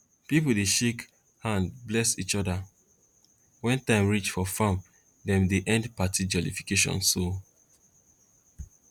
pipo dey shake hand bless each other wen time reach for farm dem dey end party jollification so